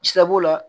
Sabo la